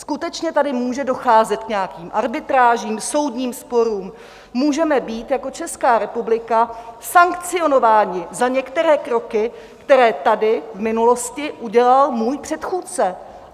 Skutečně tady může docházet k nějakým arbitrážím, soudním sporům, můžeme být jako Česká republika sankcionováni za některé kroky, které tady v minulosti udělal můj předchůdce.